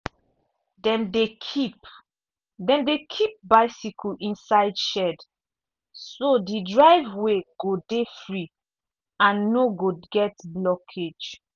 dem dey keep dem dey keep bicycle inside shed so the driveway go dey free and no go get blockage.